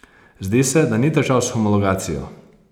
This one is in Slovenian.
Zdi se, da ni težav s homologacijo?